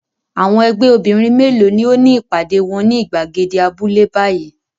Àwọn ẹgbẹ́ obìnrin mélòó ni ó ní ìpàdé wọn ní ìgbàgede abúlé báyìí?